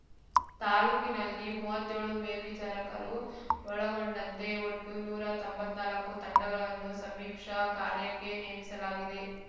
ತಾಲೂಕಿನಲ್ಲಿ ಮುವ್ವತ್ತ್ಯೋಳು ಮೇಲ್ವಿಚಾರಕರು ಒಳಗೊಂಡಂತೆ ಒಟ್ಟು ನೂರಾ ತೊಂಬತ್ನಾಲ್ಕು ತಂಡಗಳನ್ನು ಸಮೀಕ್ಷಾ ಕಾರ್ಯಕ್ಕೆ ನೇಮಿಸಲಾಗಿದೆ